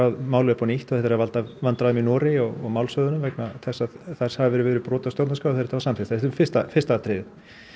málið upp á nýtt og þetta er að valda vandræðum í Noregi og vegna þess að þar hafi verið verið brotið á stjórnarskrá þegar þetta var samþykkt þetta er fyrsta fyrsta atriðið